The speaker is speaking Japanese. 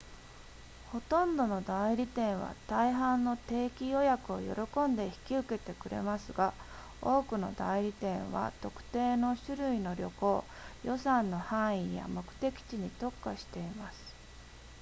ほとんどの代理店は大半の定期予約を喜んで引き受けてくれますが多くの代理店は特定の種類の旅行予算の範囲や目的地に特化しています